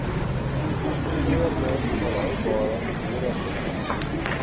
geïntegreerde volhoubare nedersettings